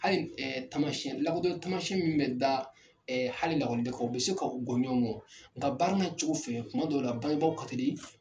Hali taamasiyɛn lakodɔn taamasiyɛn min bɛ da hali i den kan u bɛ se ka u bɔ gɔ ɲɔnɔn nka baara n'a cogo fɛ tuma dɔw la bangebaaw ka teli.